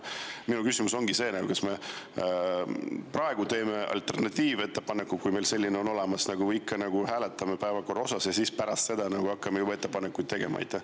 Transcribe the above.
Minu küsimus ongi, kas me praegu teeme alternatiivettepaneku, kui meil selline on olemas, et nagu ikka, hääletame päevakorra üle ja pärast seda hakkame juba ettepanekuid tegema.